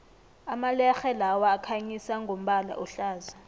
amalerhe lawa akhanyisa ngombala ohlaza